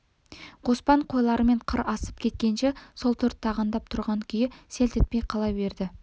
қоспан қойларымен қыр асып кеткенше сол төрт тағандап тұрған күйі селт етпей қала берді